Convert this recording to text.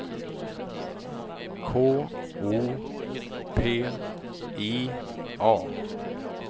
K O P I A